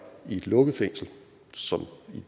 i et lukket fængsel sådan